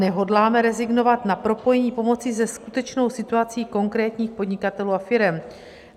Nehodláme rezignovat na propojení pomoci se skutečnou situací konkrétních podnikatelů a firem.